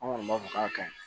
An kɔni b'a fɔ k'a kaɲi